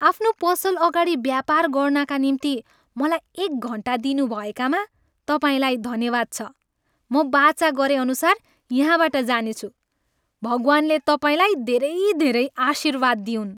आफ्नो पसल अगाडि व्यापार गर्नाका निम्ति मलाई एक घन्टा दिनुभएकामा तपाईँलाई धन्यवाद छ। म बाचा गरेअनुसार यहाँबाट जानेछु। भगवान्ले तपाईँलाई धेरै धेरै आशिर्वाद दिउन्।